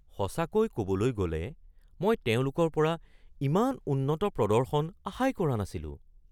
সঁচাকৈ ক'বলৈ গ'লে মই তেওঁলোকৰ পৰা ইমান উন্নত প্ৰদৰ্শন আশাই কৰা নাছিলোঁ।